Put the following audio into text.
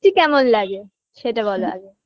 কেমন লাগে সেটা বলো আগে